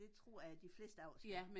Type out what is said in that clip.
Det tror jeg de fleste af os gør